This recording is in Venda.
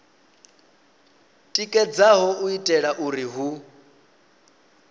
tikedzaho u itela uri hu